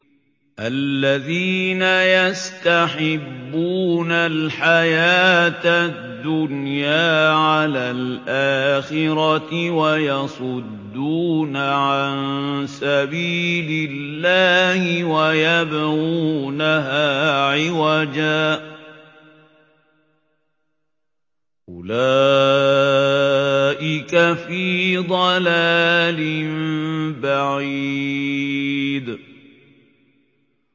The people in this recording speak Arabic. الَّذِينَ يَسْتَحِبُّونَ الْحَيَاةَ الدُّنْيَا عَلَى الْآخِرَةِ وَيَصُدُّونَ عَن سَبِيلِ اللَّهِ وَيَبْغُونَهَا عِوَجًا ۚ أُولَٰئِكَ فِي ضَلَالٍ بَعِيدٍ